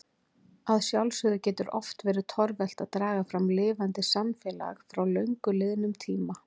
Að sjálfsögðu getur oft verið torvelt að draga fram lifandi samfélag frá löngu liðnum tíma.